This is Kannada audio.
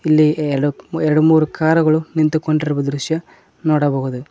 ಇಲ್ಲಿ ಎರಡು ಎರಡು ಮೂರು ಕಾರುಗಳು ನಿಂತುಕೊಂಡಿರುವ ದೃಶ್ಯ ನೋಡಬಹುದು.